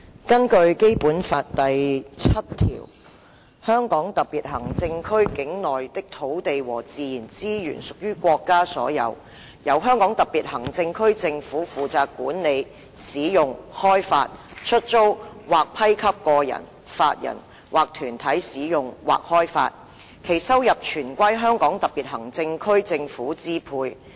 根據《基本法》第七條，"香港特別行政區境內的土地和自然資源屬於國家所有，由香港特別行政區政府負責管理、使用、開發、出租或批給個人、法人或團體使用或開發，其收入全歸香港特別行政區政府支配。